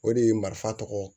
O de ye marifa tɔgɔ